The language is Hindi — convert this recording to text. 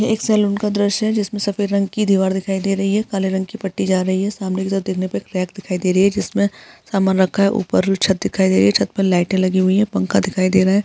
ये एक सलून का द्रश्य है जिसमें सफेद रंग की दीवार दिखाई दे रही है काले रंग की पट्टी जा रही है सामने की तरफ देखने पे क्रेक दिखाई दे रही हे जिसमें सामान रखा है ऊपर भी छत दिखाई दे रही हैं छत पे लाईटे लगी हुई हैं पंखा दिखाई दे रहा है।